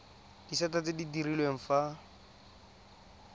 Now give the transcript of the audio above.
disata tse di direlwang fa